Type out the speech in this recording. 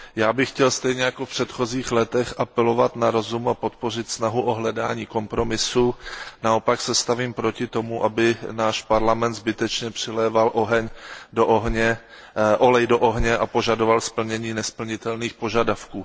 Já bych chtěl stejně jako v předchozích letech apelovat na rozum a podpořit snahu o hledání kompromisu, naopak se stavím proti tomu, aby náš Parlament zbytečně přiléval olej do ohně a požadoval splnění nesplnitelných požadavků.